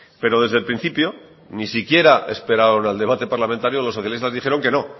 pero desde el principio ni siquiera esperaron al debate parlamentario los socialistas dijeron que no